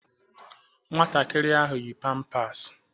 Nwatakịrị ahụ yi pampasi.